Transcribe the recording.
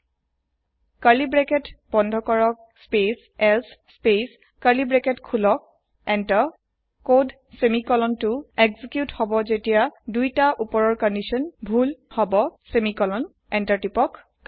close curly bracket space else space open bracket enter code semicolon to execute হব জেতিয়া দুইতা উপৰৰ condition ভুল সেমিকোলন হব এন্টাৰ তিপক